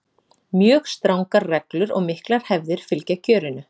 Mjög strangar reglur og miklar hefðir fylgja kjörinu.